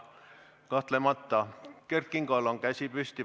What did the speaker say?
Kert Kingol on käsi püsti.